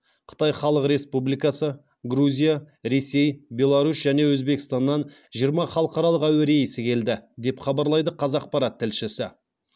қытай халық республикасы грузия ресей беларусь және өзбекстаннан жиырмасыншы халықаралық әуе рейсі келді деп хабарлайды қазақпарат тілшісі